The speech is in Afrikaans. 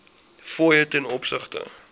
fooie ten opsigte